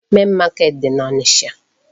Main market dị n'Ọnịcha.